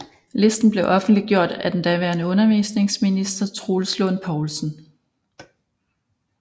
Listen blev offentliggjort af den daværende undervisningsminister Troels Lund Poulsen